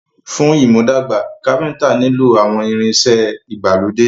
Fún ìmúdàgbà, Káfíntà nilo àwọn ìrìn ìṣe ìgbàlódé.